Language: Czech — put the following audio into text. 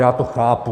Já to chápu.